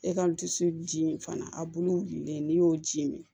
E ka dusu ji in fana a bulu wulilen n'i y'o ji min